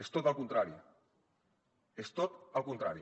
és tot el contrari és tot el contrari